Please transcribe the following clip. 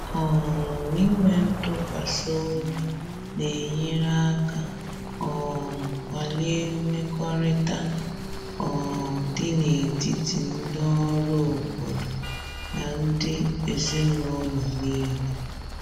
um Inwe ntụkwasị obi na-enyere aka um kwalie mmekọrịta um dị n’etiti ndị ọrụ obodo na ndị ezinụlọ niile.